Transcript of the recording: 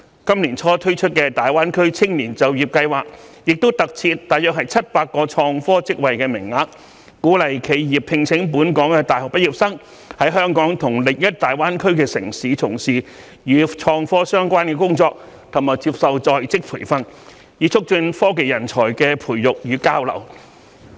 今年年初推出的大灣區青年就業計劃亦特設約700個創科職位名額，鼓勵企業聘請本港大學畢業生在香港和另一大灣區城市，從事與創科相關的工作及接受在職培訓，以促進科技人才的培養與交流。